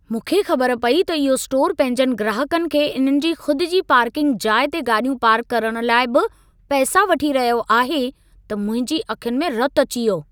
मूंखे ख़बर पई त इहो स्टोर पंहिंजनि ग्राहकनि खे इन्हनि जी ख़ुद जी पार्किंग जाइ ते गाॾियूं पार्क करण लाइ बि पैसा वठी रहियो आहे, त मुंहिंजी अखियुनि में रतु अची वयो।